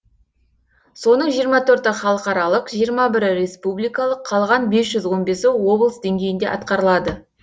соның жиырма төрті халықаралық жиырма бірі республикалық қалған бес жүз он бесі облыс деңгейінде атқарылады